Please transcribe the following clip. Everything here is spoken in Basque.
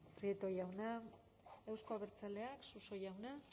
prieto jauna euzko abertzaleak suso jauna